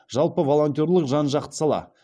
жалпы волонтерлік жан жақты сала